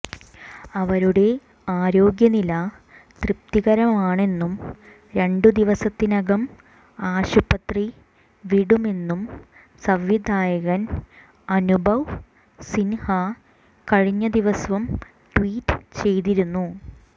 അവരുടെ ആരോഗ്യനില തൃപ്തികരമാണെന്നും രണ്ടു ദിവസത്തിനകം ആശുപത്രി വിടുമെന്നും സംവിധായകൻ അനുഭവ് സിൻഹ കഴിഞ്ഞ ദിവസം ട്വീറ്റ് ചെയ്തിരുന്നു